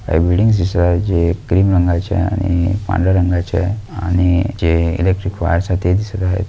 काही बिल्डिंग दिसत आहे जे क्रीम रंगाची आहे आणि पांढर्‍या रंगाची आणि जे इलेक्ट्रिक वायर्स ते दिसत आहे.